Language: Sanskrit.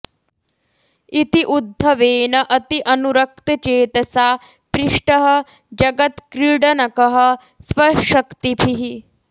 इति उद्धवेन अति अनुरक्त चेतसा पृष्टः जगत्क्रीडनकः स्वशक्तिभिः